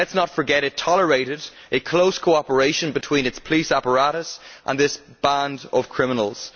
Let us not forget it tolerated a close cooperation between its police apparatus and this band of criminals.